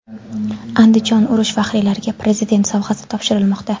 Andijonda urush faxriylariga Prezident sovg‘asi topshirilmoqda.